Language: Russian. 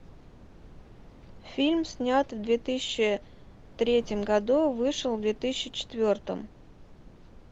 фильм снят в две тысячи третьем году вышел в две тысячи четвертом